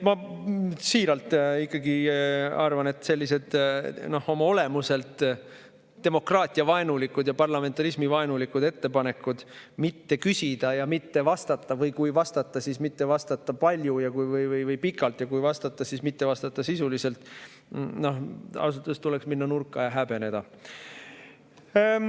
Ma siiralt arvan selliste oma olemuselt demokraatiavaenulike ja parlamentarismivaenulike ettepanekute kohta, et tuleks mitte küsida ja mitte vastata või kui vastata, siis mitte vastata palju ja pikalt, ja kui vastata, siis mitte vastata sisuliselt, et ausalt öeldes tuleks minna nurka ja häbeneda.